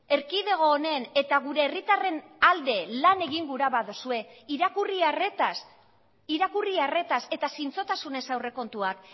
erkidego honen eta gure herritarren alde lan egin gura baduzue irakurri arretaz irakurri arretaz eta zintzotasunez aurrekontuak